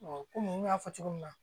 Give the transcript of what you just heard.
kɔmi n y'a fɔ cogo min na